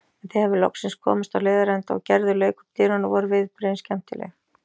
En þegar við loksins komumst á leiðarenda og Gerður lauk upp dyrum, voru viðbrigðin skemmtileg.